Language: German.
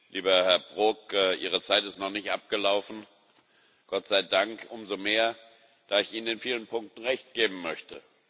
Lieber Herr Brok, Ihre Zeit ist noch nicht abgelaufen Gott sei Dank, umso mehr, da ich Ihnen in vielen Punkten Recht geben möchte.